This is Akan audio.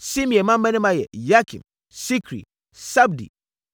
Simei mmammarima yɛ Yakim, Sikri, Sabdi,